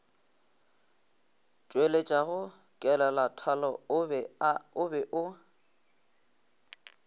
tšweletšago kelelathalo o be o